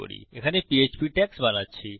আমি এখানে PHP tags বানাচ্ছি